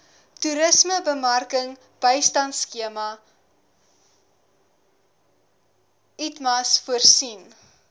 toerismebemarkingbystandskema itmas voorsien